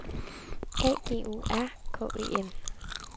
A G U R K E N